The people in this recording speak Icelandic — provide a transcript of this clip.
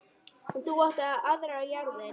En þú átt aðrar jarðir.